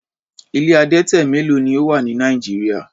Ilé adẹtẹ mélo ni ó wà ní Nigeria?